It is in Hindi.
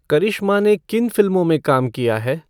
करिश्मा ने किन फिल्मों में काम किया है